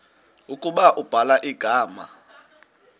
ukuba ubhala igama